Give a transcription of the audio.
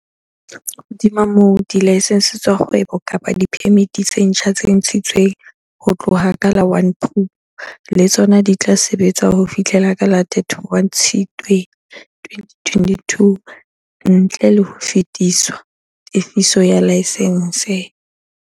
Hodima moo, dilaesense tsa kgwebo kapa diphemiti tse ntjha tse ntshi tsweng ho tloha ka la 1 Phupu le tsona di tla sebetsa ho fihlela ka la 31 Tshitswe 2022, ntle le ho lefiswa tefiso ya laesense.